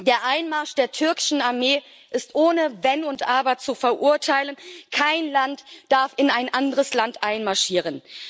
Der Einmarsch der türkischen Armee ist ohne Wenn und Aber zu verurteilen, kein Land darf in ein anderes Land einmarschieren.